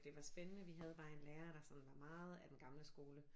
Det var spændende vi havde bare en lærer der sådan var meget af den gamle skole